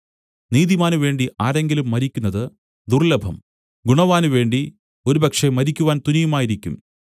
നീതിമാനുവേണ്ടി ആരെങ്കിലും മരിക്കുന്നതു ദുർല്ലഭം ഗുണവാനുവേണ്ടി ഒരുപക്ഷേ മരിക്കുവാൻ തുനിയുമായിരിക്കും